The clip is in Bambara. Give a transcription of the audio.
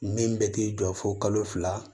Min bɛ t'i jɔ fo kalo fila